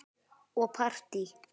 Og partí.